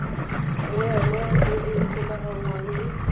mmoelwa e e golaganngwang le